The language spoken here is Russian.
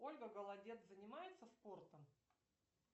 ольга голодец занимается спортом